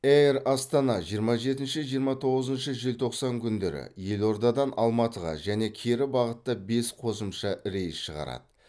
эйр астана жиырма жетінші жиырма тоғызыншы желтоқсан күндері елордадан алматыға және кері бағытта бес қосымша рейс шығарады